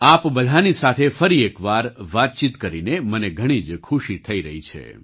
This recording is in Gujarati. આપ બધાની સાથે ફરી એકવાર વાતચીત કરીને મને ઘણી જ ખુશી થઈ રહી છે